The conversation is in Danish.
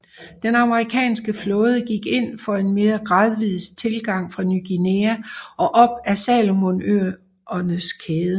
Den amerikanske flåde gik ind for en mere gradvis tilgang fra Ny Guinea og op ad Salomonøerneskæden